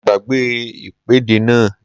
Mo gbàgbé ìpèdè náà